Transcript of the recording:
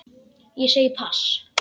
Ég segi pass.